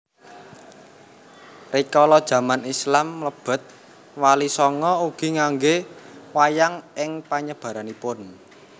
Rikala jaman Islam mlebet Walisanga ugi nganggé wayang ing panyebaranipun